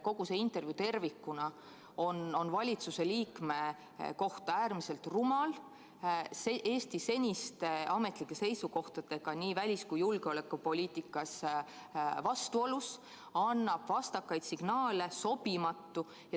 Kogu see intervjuu tervikuna on valitsuse liikme kohta äärmiselt rumal, vastuolus Eesti seniste ametlike seisukohtadega nii välis- kui julgeolekupoliitikas, annab vastakaid signaale, on sobimatu.